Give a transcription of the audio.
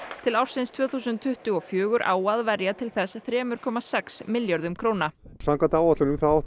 til ársins tvö þúsund tuttugu og fjögur á að verja til þess þremur komma sex milljörðum króna samkvæmt áætlunum átti